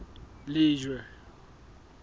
lejwe